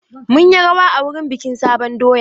Mun yi rawa a wurin bikin sabon doya.